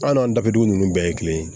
An n'an daduun bɛɛ ye kelen ye